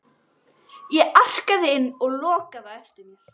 Ég arkaði inn og lokaði á eftir mér.